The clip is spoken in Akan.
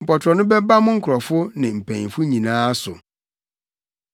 Mpɔtorɔ no bɛba mo nkurɔfo ne mpanyimfo nyinaa so.’ ”